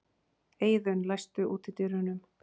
Eiðunn, læstu útidyrunum.